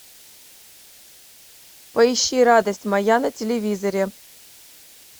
поищи радость моя на телевизоре